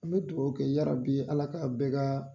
An mi duwɔwu kɛ yarabi Ala ka bɛ ka